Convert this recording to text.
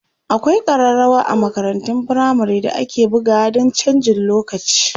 akwai karrawa a makarantun firamare da ake bugawa Dan chanjin lokaci